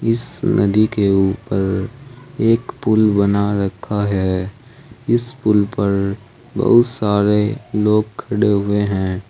इस नदी के ऊपर एक पुल बना रखा है इस पुल पर पर बहुत सारे लोग खड़े हुए हैं।